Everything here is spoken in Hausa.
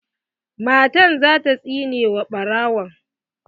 Matan za ta tsine wa ɓarawon.